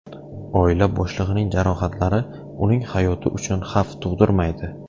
Oila boshlig‘ining jarohatlari uning hayoti uchun xavf tug‘dirmaydi.